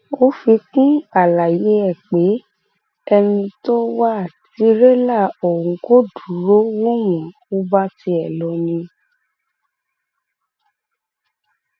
ó fi kún àlàyé ẹ pé ẹni tó wá tìrẹlà ọhún kò dúró wò wọn ò bá tiẹ lọ ni